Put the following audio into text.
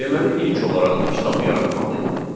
Deməli ilk olaraq kitabı yaratmalıyıq.